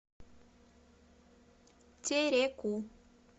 тереку